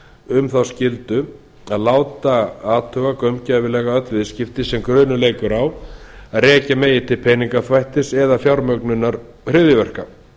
um þá skyldu að láta athuga gaumgæfilega öll viðskipti sem grunur leikur á að rekja megi til peningaþvættis eða fjármögnunar hryðjuverka